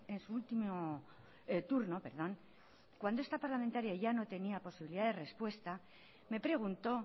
en su último turno cuando esta parlamentaria ya no tenía posibilidad de respuesta me preguntó